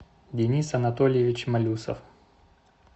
денис анатольевич малюсов